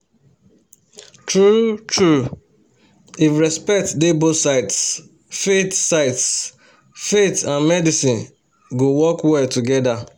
true-true if respect dey both sides faith sides faith and medicine go work well together